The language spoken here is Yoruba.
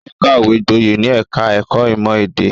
Ó kàwé gboyè ní ẹ̀ka-ẹ̀kọ́ ìmọ̀-èdè.